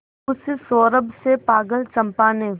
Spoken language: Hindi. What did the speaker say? उस सौरभ से पागल चंपा ने